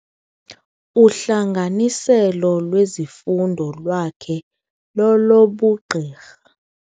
Uhlanganiselo lwezifundo lwakhe lolobugqirha.